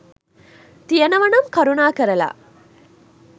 තියනවා නම් කරුණාකරලා